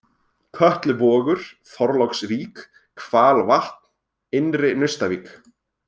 Kötluvogur, Þorláksvík, Hvalvatn, Innri-Naustavík